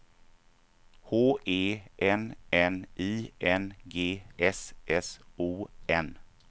H E N N I N G S S O N